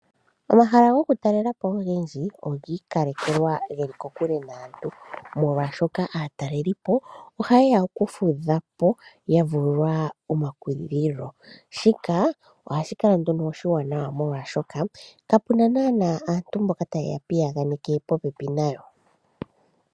Omahala go ku talelapo ogendji ogii kalekelwa geli kokule naantu molwaa shoka aatalelipo oha yeya oku fudhapo yavulwa omakudhilo ,shika oha shi kala nduno oshi wananwa molwaashoka kapuna naana aantu mboka tayeya piyaganeke yeli popepi nayo.